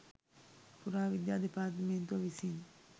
පුරාවිද්‍යා දෙපාර්තමේන්තුව විසින්